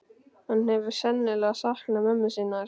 Hann hefur sennilega saknað mömmu sinnar.